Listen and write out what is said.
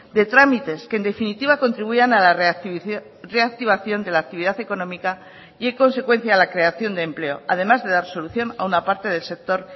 de trámites que en definitiva contribuyan a la reactivación de la actividad económica y en consecuencia a la creación de empleo además de dar solución a una parte del sector